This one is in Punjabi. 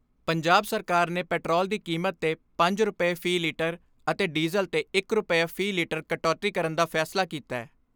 ਪੰਜਾਬ ਸਰਕਾਰ ਨੇ ਪੈਟਰੋਲ ਦੀ ਕੀਮਤ ਤੇ ਪੰਜ ਰੁਪਏ ਫ਼ੀ ਲਿਟਰ ਅਤੇ ਡੀਜ਼ਲ ਤੇ ਇਕ ਰੁਪਿਆ ਵੀ ਲਿਟਰ ਕਟੌਤੀ ਕਰਨ ਦਾ ਫੈਸਲਾ ਕੀਤੈ।